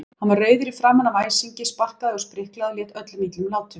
Hann var rauður í framan af æsingi, sparkaði og spriklaði og lét öllum illum látum.